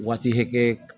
Waati hakɛ